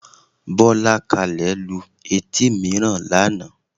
Bọ́lákalẹ́ lu etí mìíràn lánàá